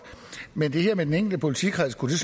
men det her med den enkelte politikreds kunne